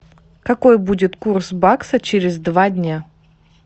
какой будет курс бакса через два дня